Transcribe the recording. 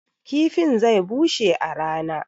kifin zai bushe a rana